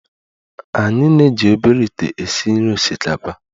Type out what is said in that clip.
Anyị na-eji obere ite esi nri osikapa